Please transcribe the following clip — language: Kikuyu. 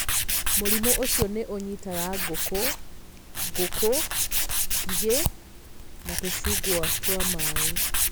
Mũrimũ ũcio nĩ ũnyiitaga ngũkũ, ngũkũ, ngigĩ, na tũcungwa twa maĩ.